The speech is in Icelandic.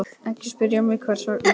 Ekki spyrja mig hvers vegna.